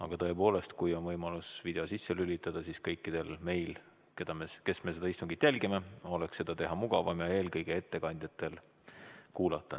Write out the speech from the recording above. Aga tõepoolest, kui on võimalus video sisse lülitada, siis kõikidel meil, kes me seda istungit jälgime, oleks mugavam ja parem eelkõige ettekandjaid kuulata.